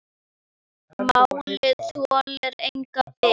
Málið þolir enga bið.